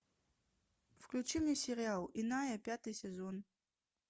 включи мне сериал иная пятый сезон